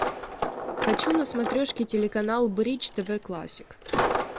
хочу на смотрешке телеканал бридж тв классик